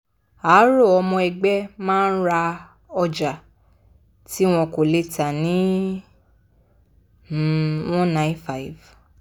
a rọ ọmọ ẹgbẹ́ má ra ọjà tí wọn kò lè tà ní n195.